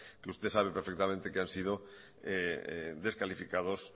que usted sabe perfectamente que han sido descalificados